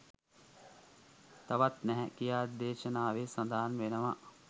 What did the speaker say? තවත් නැහැ කියා, දේශනාවේ සඳහන් වෙනවා.